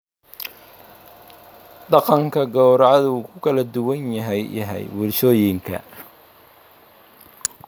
Dhaqanka gawracadu wuu ku kala duwan yahay bulshooyinka.